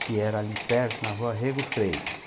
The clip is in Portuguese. Que era ali perto, na rua Rego Freitas.